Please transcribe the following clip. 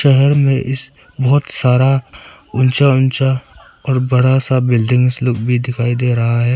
शहर में इस बहुत सारा ऊंचा ऊंचा और बड़ा सा बिल्डिंग लोग भी दिखाई दे रहा है।